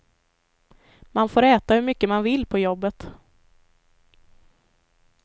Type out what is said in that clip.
Man får äta hur mycket man vill på jobbet.